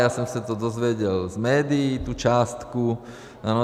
Já jsem se to dozvěděl z médií, tu částku.